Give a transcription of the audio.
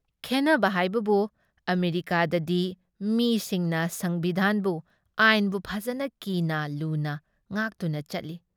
ꯈꯦꯟꯅꯕ ꯍꯥꯏꯕꯕꯨ ꯑꯃꯦꯔꯤꯀꯥꯗꯗꯤ ꯃꯤꯁꯤꯡꯅ ꯁꯪꯕꯤꯙꯥꯟꯕꯨ, ꯑꯥꯏꯟꯕꯨ ꯐꯖꯅ ꯀꯤꯅ ꯂꯨꯅ ꯉꯥꯛꯇꯨꯅ ꯆꯠꯂꯤ ꯫